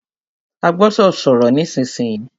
A gbọ́dọ̀ sọ̀rọ̀ nísìsiyìí!